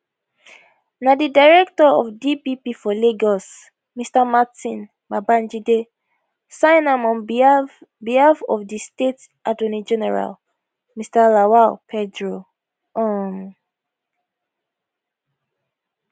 na di director of dpp for lagos mr martin babajide sign am on behalf behalf of di state attorney general mr lawal pedro um